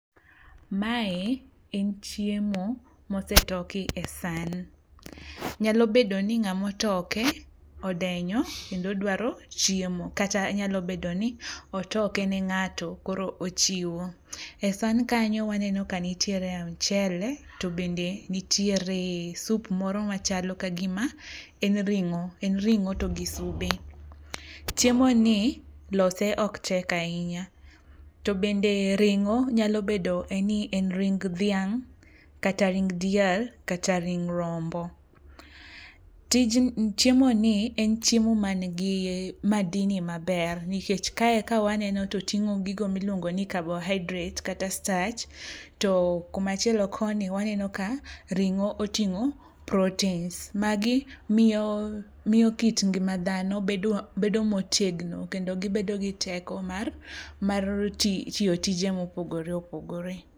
Mae en chiemo mosetoki e san. Nyalo bedo ni ngáma otoke, odenyo kendo dwaro chiemo, kata nyalo bedo ni otoke ne ngáto. Koro ochiwo. E san kanyo waneno ka nitiere mchele, to bende nitiere soup moro machalo ka gima en ringó. En ringó to soube. Chiemo ni lose ok tek ahinya. To bende ringó, nyalo bedo ni en ring dhiang', kata ring diel, kata ring rombo. Tij, chiemoni en chiemo ma nigi madini maber. Nikech kae ka waneno to otingó gigo ma iluongo ni carbohydrates, kata starch. To kuma chielo koni, waneno ka ringó otingó proteins. Magi miyo, miyo kit ngima dhano bedo, bedo motegno, kendo gibedo gi teko mar, mar tiyo tije ma opogore opogore.